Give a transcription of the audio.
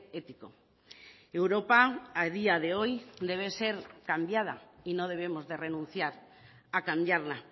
ético europa a día de hoy debe ser cambiada y no debemos de renunciar a cambiarla